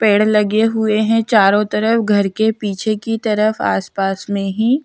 पेड़ लगे हुए हैं चारों तरफ घर के पीछे की तरफ आस पास में ही--